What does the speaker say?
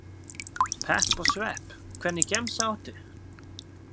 Pepp og svepp Hvernig gemsa áttu?